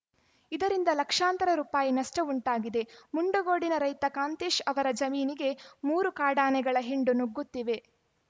ಇದರಿಂದ ಲಕ್ಷಾಂತರ ರುಪಾಯಿ ನಷ್ಟ ಉಂಟಾಗಿದೆ ಮುಂಡಗೋಡಿನ ರೈತ ಕಾಂತೇಶ್‌ ಅವರ ಜಮೀನಿಗೆ ಮೂರು ಕಾಡಾನೆಗಳ ಹಿಂಡು ನುಗ್ಗುತ್ತಿದೆ